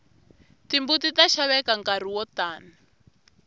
timbuti ta xaveka nkarhi wo tani